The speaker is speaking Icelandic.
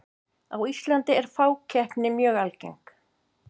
á íslandi er fákeppni mjög algeng